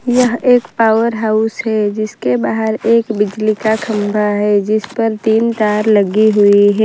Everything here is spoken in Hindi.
यह एक पावर हाउस है जिसके बाहर एक बिजली का खंभा है जिस पर तीन तार लगी हुई है।